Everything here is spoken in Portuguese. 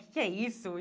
Que que é isso?